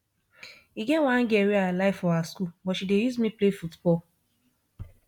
e get one girl wey i like for our school but she dey use me play football